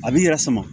A b'i yɛrɛ sama